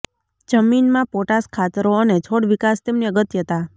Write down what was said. જમીનમાં પોટાશ ખાતરો અને છોડ વિકાસ તેમની અગત્યતા